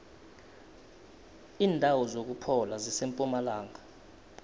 indawo zokuphola zisempumalanga